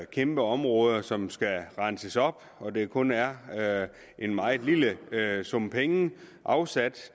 kæmpe områder som skal renses op og at der kun er er en meget lille sum penge afsat